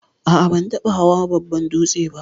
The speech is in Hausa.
A'a ban taba hawan babban dūtse ba.